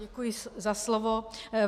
Děkuji za slovo.